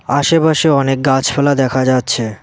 আশেপাশে অনেক গাছপালা দেখা যাচ্ছে।